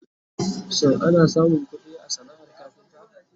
shin ana samun ƙuɗi a sanaar kafinta?